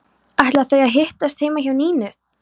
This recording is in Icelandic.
Ætla þau að hittast heima hjá Nínu?